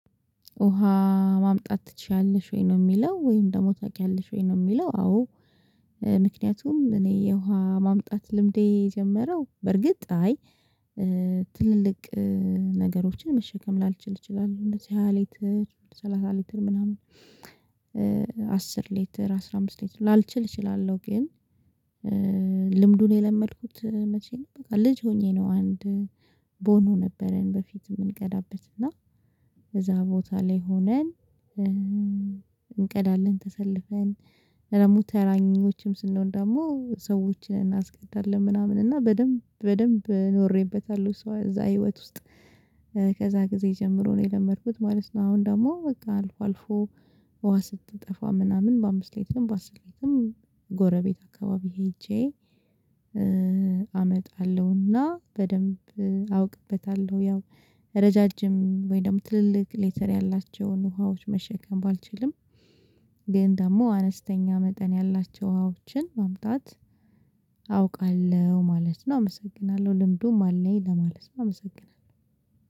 ውሃ ማምጣት ትችያለሽ ወይ ነው የሚለው ወይም ደግሞ ታውቂያለሽ ወይ ነው የሚለው? አዎ ምክንያቱም እኔ የውሃ ማምጣት ልምዴ የጀመረው በርግጥ አይ ትልልቅ ነገሮችን መሸከም ላልችል እችላለሁ እንደዚህ ሃያ ሊትር ሰላሳ ሊትር ምናምን አስር ሊተር አስራ አምስት ሌተር ላልችል እችላለሁ ግን። ልምዱን የለመድኩት መቼ ነው ልጅ ሆኜ ነው አንድ ቦኖ ነበረን በፊት የምንቀዳበት እና እዛ ቦታ ላይ ሆነን እንቀዳለን ተሰልፈን እና ደግሞ ተራኞችም ስንሆን ደግሞ ሰዎችን እናስቀዳለን ምናምን እና በደንብ በደንብ ኖሬበታለሁ ሶ እዛ ህይወት ውስጥ ከዛ ጊዜ ጀምሮ ነው የለመድኩት ማለት ነው። አሁን ደግሞ በቃ አልፎ አልፎ ውሃ ስትጠፋ ምናምን በአምስት ሌትርም በአስር ሌትም ጎረቤት አካባቢ ሄጄ አመጣለሁና በደንብ አውቅበታለሁ። ያው ረዣዥም ወይ ደግሞ ትልልቅ ሌተር ያላቸውን ውሃዎች መሸከም ባልችልም ግን ደግሞ አነስተኛ መጠን ያላቸው ውሃዎችን ማምጣት አውቃለሁ ማለት ነው። አመሰግናለሁ ልምዱም አለኝ ለማለት ነው። አመሰግናለሁ